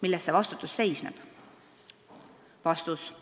Milles see vastutus väljendub?